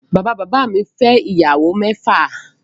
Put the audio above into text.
Bàbá bàbá mi fẹ́ ìyàwó mẹ́fà